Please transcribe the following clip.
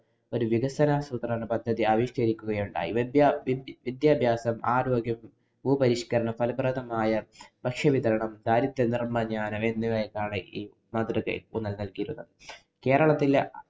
ഒരു വികസന ആസൂത്രണ പദ്ധതി ആവിഷ്കരിക്കുകയുണ്ടായി. വിദ്യാ~ സിദ്യഭ്യാസം, ആരോഗ്യം, ഭൂപരിഷ്കരണം, ഫലപ്രദമായ ഭക്ഷ്യവിതരണം, ദാരിദ്ര്യ നിര്‍മ്മാര്‍ജ്ജനം എന്നിവയ്ക്കാണ് ഈ മാതൃക ഊന്നല്‍ നല്‍കിയിരുന്നത്. കേരളത്തിലെ